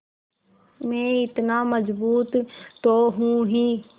मैं इतना मज़बूत तो हूँ ही